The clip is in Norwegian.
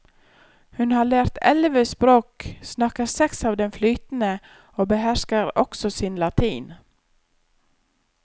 Hun har lært elleve språk, snakker seks av dem flytende og behersker også sin latin.